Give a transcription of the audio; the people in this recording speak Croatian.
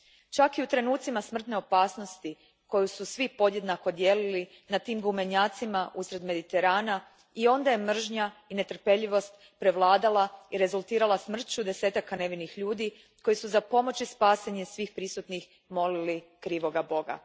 Čak i u trenucima smrtne opasnosti koju su svi podjednako dijelili na tim gumenjacima usred Mediterana i onda je mržnja i netrpeljivost prevladala i rezultirala smrću desetaka nevinih ljudi koji su za pomoć i spasenje svih prisutnih molili krivog Boga.